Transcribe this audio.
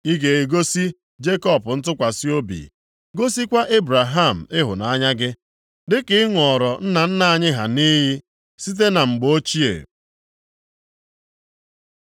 Ị ga-egosi Jekọb ntụkwasị obi, gosikwa Ebraham ịhụnanya gị, dịka ị ṅụọrọ nna nna anyị ha nʼiyi, site na mgbe ochie.